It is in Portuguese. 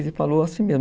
Ele falou assim mesmo.